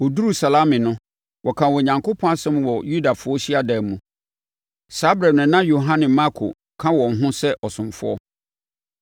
Wɔduruu Salami no, wɔkaa Onyankopɔn asɛm wɔ Yudafoɔ hyiadan mu. Saa ɛberɛ no, na Yohane Marko ka wɔn ho sɛ ɔsomfoɔ.